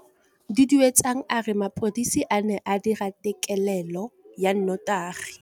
Duduetsang a re mapodisa a ne a dira têkêlêlô ya nnotagi.